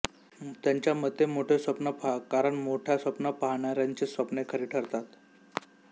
त्यांच्या मते मोठे स्वप्न पहा कारण मोठ्या स्वप्न पाहणाऱ्यांचीच स्वप्ने खरी ठरतात